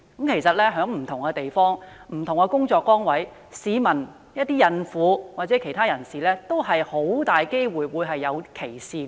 其實，在不同地方和工作崗位，市民包括孕婦及其他人士均有可能受到歧視。